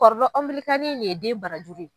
nin ye den barajuru ye.